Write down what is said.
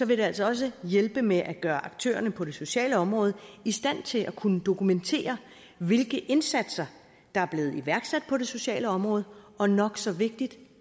vil det altså også hjælpe med at gøre aktørerne på det sociale område i stand til at kunne dokumentere hvilke indsatser der er blevet iværksat på det sociale område og nok så vigtigt